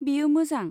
बेयो मोजां।